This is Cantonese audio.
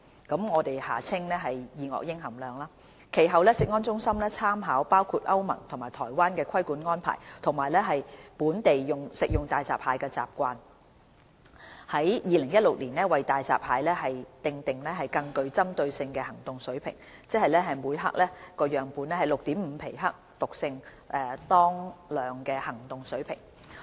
其後，食安中心參考包括歐盟及台灣的規管安排及本地食用大閘蟹的習慣，在2016年為大閘蟹訂立更具針對性的行動水平，即每克樣本 6.5 皮克毒性當量的行動水平。